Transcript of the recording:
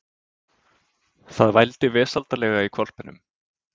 Það vældi vesældarlega í hvolpinum.